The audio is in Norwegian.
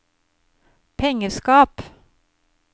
pengeskap